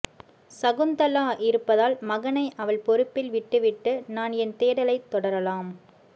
சகுந்தலா இருப்பதால் மகனை அவள் பொறுப்பில் விட்டுவிட்டு நான் என் தேடலைத் தொடரலாம்